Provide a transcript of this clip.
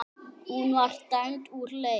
Hún var dæmd úr leik.